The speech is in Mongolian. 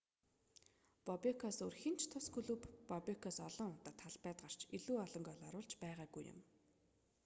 бобекоос өөр хэн ч тус клубт бобекоос олон удаа талбайд гарч илүү олон гоол оруулж байгаагүй юм